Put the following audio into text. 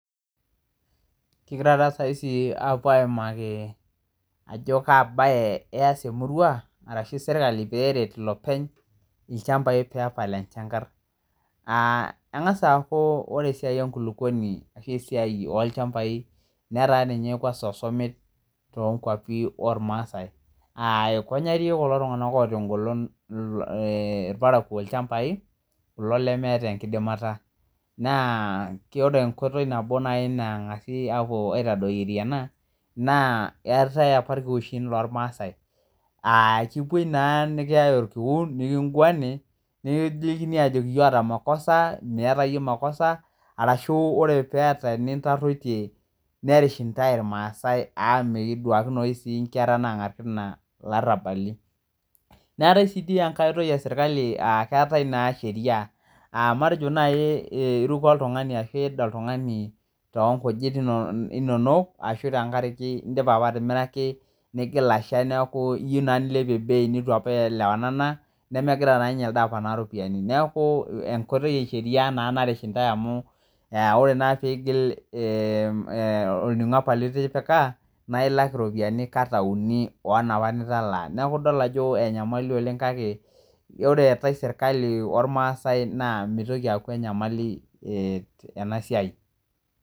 Kegirai na sai apuo aimake ajo kaanae eas emurua ashu serkali peret lopeny enkop pwpal enchangar kengasa aku ore esiai enkulukuoni ashu esiaia olchambai netaa osomit to kwapi ormaasai ikonyatie kulo tunganak ogol irparakuo mpisai lchambai kulo lemwwta enkidimata naa ore enkoitoi nabo nangasa apuo ena neetae irkiuwhim lormaasai akiyae orkiu nikingwani ajoki iyie oota makosa miata yie makosa ashu ore eniata nitapashakine nerish ntae irmaasai amu meeta eniko peeta langar kina larabali meetae si kiti enkae loitoi eserkali amu keetae sheria aa matejo nai iruko oltungani ashu tenkaraki indipa apa atimiraki nidipa atasha niyieu nilepie bei nitubapa ielewana neaku enkoitoi esheria na narish ntae amu oee ake pigil orningo litipika na ilak ropiyani kata uni onaapa nitalaa neaku idol ajo enyamali oleng kakw ore eetae serkali ormaasai mitoki aata enasia.